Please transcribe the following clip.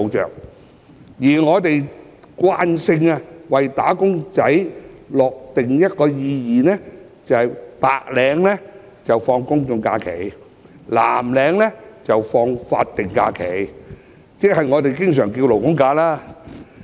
然而，我們慣性為"打工仔"訂立一個定義，即白領放取"公眾假期"，藍領則放取"法定假日"或我們常稱的"勞工假"。